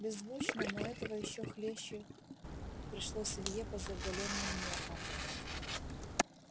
беззвучно но этого ещё хлеще пришлось илье по заголённым нервам